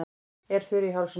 Er þurr í hálsinum.